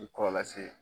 Ni kɔlɔlɔ lase